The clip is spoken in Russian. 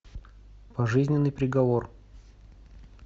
пожизненный приговор